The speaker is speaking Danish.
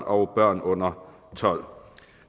og børn under tolv år